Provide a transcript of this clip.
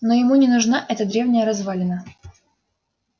но ему не нужна эта древняя развалина